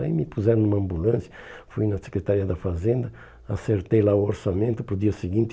Aí me puseram em uma ambulância, fui na Secretaria da Fazenda, acertei lá o orçamento para o dia seguinte.